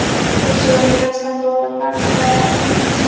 Össur var með hjartslátt og nagandi angist í sálinni.